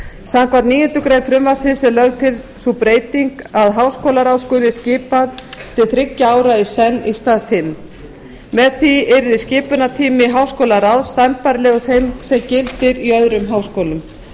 samkvæmt níundu grein frumvarpsins er lögð til sú breyting að háskólaráð skuli skipað til þriggja ára í senn í stað fimm með því yrði skipunartími háskólaráðs sambærilegur þeim sem gildir í öðrum háskólum